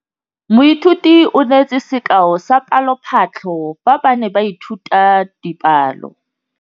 Moithuti o neetse sekaô sa palophatlo fa ba ne ba ithuta dipalo.